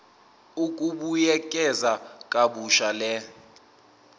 ukubuyekeza kabusha le